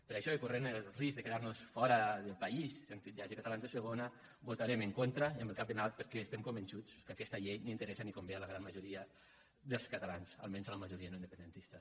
per això i corrent el risc de quedar nos fora del país sent titllats de catalans de segona hi votarem en contra amb el cap ben alt perquè estem convençuts que aquesta llei no interessa ni convé a la gran majoria dels catalans almenys a la majoria no independentista